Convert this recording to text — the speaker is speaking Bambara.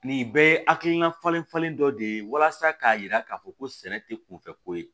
Nin bɛɛ ye hakilina falen falen dɔ de ye walasa k'a yira k'a fɔ ko sɛnɛ tɛ kunfɛ ko ye